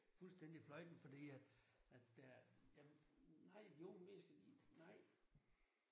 Fuldstændig fløjten fordi at at der er jamen ej de unge mennesker de nej